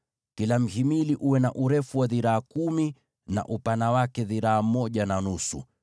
Kila mhimili uwe na urefu wa dhiraa kumi na upana wa dhiraa moja na nusu,